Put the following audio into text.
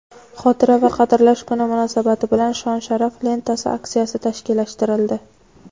"Xotira va qadrlash kuni" munosabati bilan "Shon-sharaf" lentasi aksiyasi tashkillashtirildi.